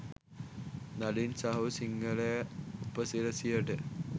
නලින් සහෝ සිංහල උපසිරැසියට.